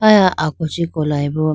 aya ako chee kolayi bo.